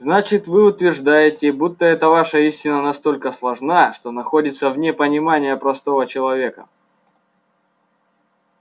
значит вы утверждаете будто эта ваша истина настолько сложна что находится вне понимания простого человека